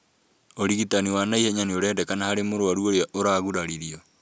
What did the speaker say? ũrigitani wa naihenya nĩũrendekana harĩ mũrwaru ũria ũraguraririo